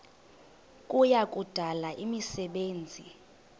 kuya kudala imisebenzi